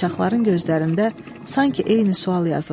Qaçaqların gözlərində sanki eyni sual yazıldı.